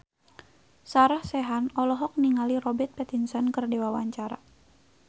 Sarah Sechan olohok ningali Robert Pattinson keur diwawancara